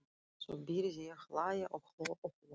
Svo byrjaði ég að hlæja og hló og hló.